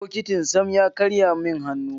Bokitin Sam ya karye min hannu.